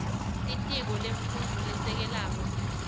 litiko lemfundvo lesisekelo